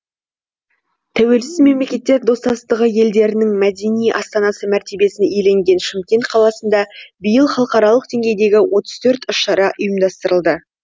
тәуелсіз мемлекеттер достастығы елдерінің мәдени астанасы мәртебесін иеленген шымкент қаласында биыл халықаралық деңгейдегі отыз төрт іс шара ұйымдастырылады